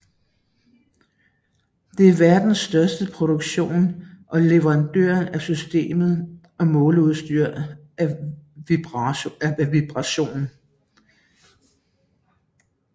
Det er verdens største producent og leverandør af systemer og måleudstyr af vibration